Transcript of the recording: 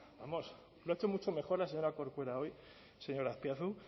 vamos lo ha hecho mucho mejor la señora corcuera hoy señor azpiazu